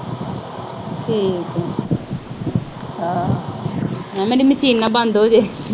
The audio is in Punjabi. ਹਾਏ, ਮੇਰੀ ਮਸ਼ੀਨ ਨਾ ਬੰਦੇ ਹੋ ਜਾਏ।